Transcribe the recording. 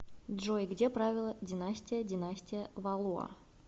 джой где правила династия династия валуа